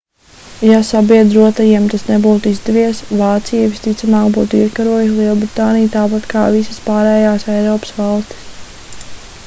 ja sabiedrotajiem tas nebūtu izdevies vācija visticamāk būtu iekarojusi lielbritāniju tāpat kā visas pārējās eiropas valstis